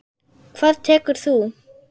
Hvað tekur þú?